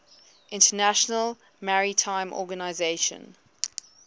international maritime organization